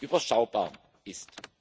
überschaubar